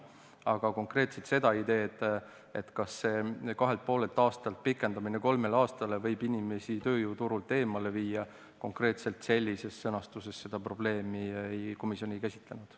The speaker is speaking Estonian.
Aga konkreetselt seda ideed või probleemi, kas sellelt kahelt ja poolelt aastalt pikendamine kolmele aastale võib inimesi tööjõuturult eemale viia, komisjon sellises sõnastuses ei käsitlenud.